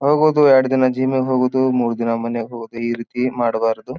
ಹೋಗುವುದು ಎರಡು ದಿನ ಜಿಮ್ ಹೋಗುವುದು ಮೂರ್ ದಿನ ಮನೆಗ್ ಹೋಗೋದು ಈ ರೀತಿ ಮಾಡಬಾರದು.